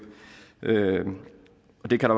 det kan